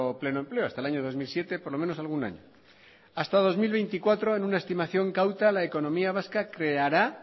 pleno empleo hasta el año dos mil siete por lo menos algún año hasta dos mil veinticuatro en una estimación cauta la economía vasca creará